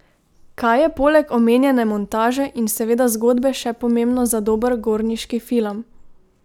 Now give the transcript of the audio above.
Kaj je poleg omenjene montaže in seveda zgodbe še pomembno za dober gorniški film?